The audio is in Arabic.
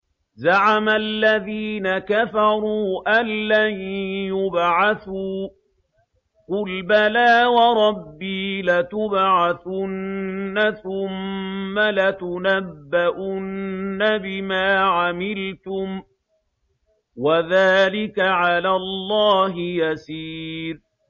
زَعَمَ الَّذِينَ كَفَرُوا أَن لَّن يُبْعَثُوا ۚ قُلْ بَلَىٰ وَرَبِّي لَتُبْعَثُنَّ ثُمَّ لَتُنَبَّؤُنَّ بِمَا عَمِلْتُمْ ۚ وَذَٰلِكَ عَلَى اللَّهِ يَسِيرٌ